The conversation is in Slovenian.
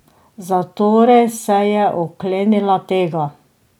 Zatorej se je oklenila tega.